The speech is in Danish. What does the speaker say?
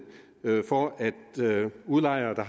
for at udlejere der